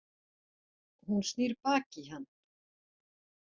Hún snýr baki í hann.